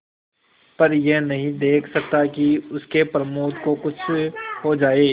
पर यह नहीं देख सकता कि उसके प्रमोद को कुछ हो जाए